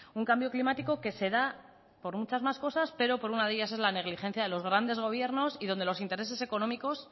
un cambio climático que se da por muchas más cosas pero por una de ellas es la negligencia de los grandes gobiernos y donde los intereses económicos